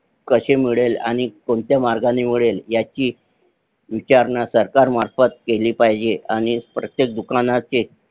कशे मिळेल आणि कोणत्या मार्गाने मिळेल ह्याची विचारणा सरकार मार्फत केली पाहिजे आणि प्रत्येक दुकानाचे